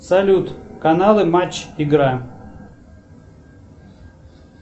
салют каналы матч игра